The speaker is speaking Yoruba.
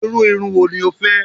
Iru irun wo ni o fẹ?